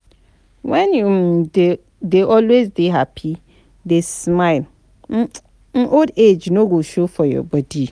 wen you um dey always dey happy, dey smile, um old age no go show for your body